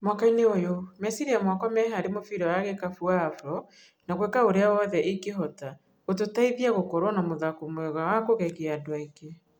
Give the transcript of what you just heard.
Mwakainĩ ũyũ meciria makwa me hari mũbira wa gikabu wa Afro na gũika ũria wothe ingihota gũtũteithia gũkorwo na mũthako mwega na kugegia andũ aingi.